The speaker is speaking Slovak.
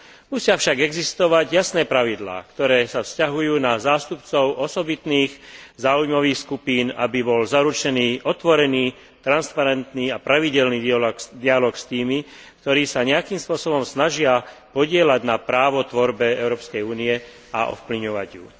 Musia však existovať jasné pravidlá, ktoré sa vzťahujú na zástupcov osobitných záujmových skupín, aby bol zaručený otvorený, transparentný a pravidelný dialóg s tými, ktorí sa nejakým spôsobom snažia podieľať na tvorbe práva Európskej únie a ovplyvňovať ju.